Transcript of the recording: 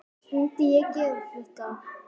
Myndi ég gera þetta?